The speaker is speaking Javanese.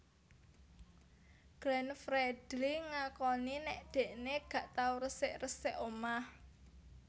Glenn Fredly ngakoni nek dhekne gak tau resik resik omah